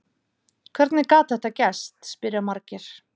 Hvernig gat þetta gerst? spyrja margir.